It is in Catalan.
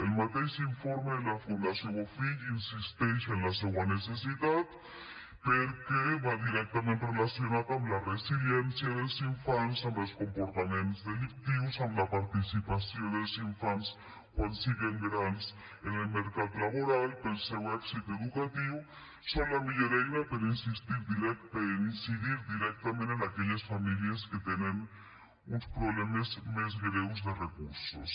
el mateix informe de la fundació bofill insisteix en la seua necessitat perquè va directament relacionat amb la resiliència dels infants amb els comportaments delictius amb la participació dels infants quan siguen grans en el mercat laboral pel seu èxit educatiu són la millor eina per incidir directament en aquelles famílies que tenen uns problemes més greus de recursos